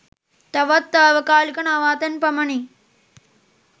තවත් තාවකාලික නවාතැන් පමණි.